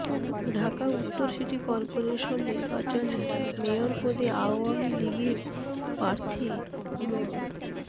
ঢাকা উত্তর city corporation নির্বাচনে mayor পদে আওয়ামী লীগের প্রার্থী মো